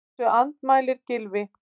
Þessu andmælir Gylfi.